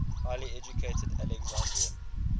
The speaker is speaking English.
highly educated alexandrian